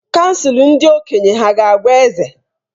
Kansụl ndị okenye hà ga-agwa eze?